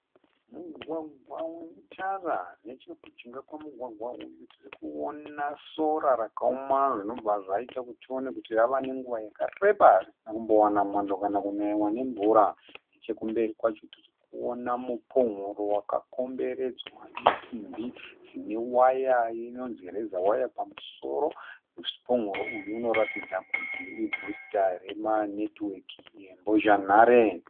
Mugwagwa une tara. Nechekujinga kwemugwagwa uyu tirikuona sora rakaoma zvinobva zvaita kuti tione Kuti rava nenguva yakareba risina kumbowana mwando kana kunaiwa nemvura. Nechekumberi kwacho tirikuona mupumhuro wakakomberedzwa nesimbi dzine waya inonzii reza waya. Pamusoro pemupumhuro uyu inoratidza kuti ibhoisikaya rema netiweki ye mbozhanhare.